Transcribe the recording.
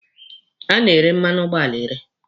A na-ere mmanụ ụgbọala ere.